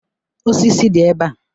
Osisi dị ebe a